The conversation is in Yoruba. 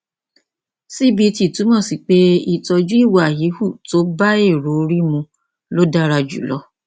cbt túmọ sí pé ìtọjú ìwà híhù tó bá èrò orí mu ló dára jùlọ